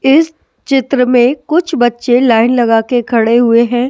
इस चित्र में कुछ बच्चे लाइन लगा के खड़े हुए हैं ।